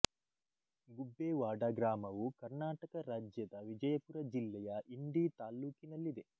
ಗುಬ್ಬೇವಾಡ ಗ್ರಾಮವು ಕರ್ನಾಟಕ ರಾಜ್ಯದ ವಿಜಯಪುರ ಜಿಲ್ಲೆಯ ಇಂಡಿ ತಾಲ್ಲೂಕಿನಲ್ಲಿದೆ